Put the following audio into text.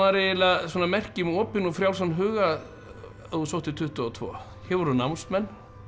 merki um opinn og frjálsan huga ef þú sóttir tuttugu og tvö hér voru námsmenn